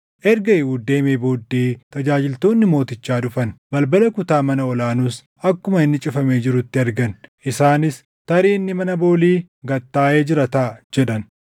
Erga Eehuud deemee booddee tajaajiltoonni mootichaa dhufan; balbala kutaa mana ol aanuus akkuma inni cufamee jirutti argan. Isaanis, “Tarii inni mana boolii gad taaʼee jira taʼa” jedhan.